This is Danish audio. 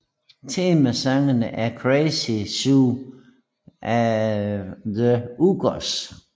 Temasangen er Crazy Zoo af The Uggos